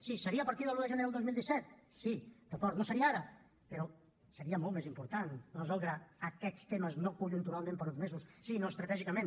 sí seria a partir de l’un de gener del dos mil disset sí d’acord no seria ara però seria molt més important resoldre aquests temes no conjunturalment per uns mesos sinó estratègicament